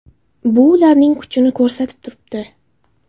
Bu ularning kuchini ko‘rsatib turibdi.